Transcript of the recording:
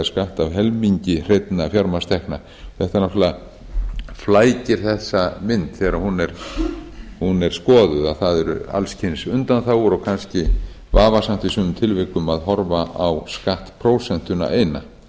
skatt af helmingi hreinna fjármagnstekna þetta náttúrlega flækir þessa mynd þegar hún er skoðuð að það eru alls kyns undanþágur og kannski vafasamt í sumum tilvikum að horfa á skattprósentuna eina